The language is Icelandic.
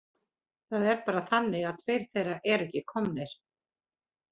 Það er bara þannig að tveir þeirra eru ekki komnir.